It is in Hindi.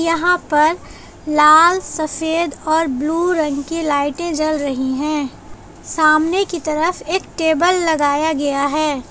यहां पर लाल सफेद और ब्लू रंग की लाइटें जल रही है सामने की तरफ एक टेबल लगाया गया है।